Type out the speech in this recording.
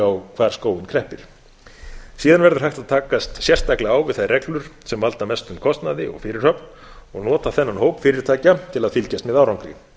á hvar skóinn kreppir síðan verður hægt að takast sérstaklega á við þær reglur sem valda mestum kostnaði og fyrirhöfn og nota þennan hóp fyrirtækja til að fylgjast með árangri